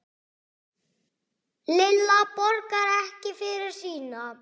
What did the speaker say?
Lilla borgar ekki fyrir sína.